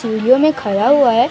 सीढ़ियों में खड़ा हुआ है।